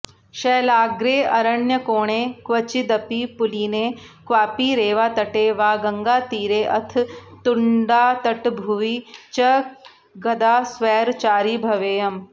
शैलाग्रेऽरण्यकोणे क्वचिदपि पुलिने क्वापि रेवातटे वा गङ्गातीरेऽथ तुङ्गातटभुवि च कदा स्वैरचारी भवेयम्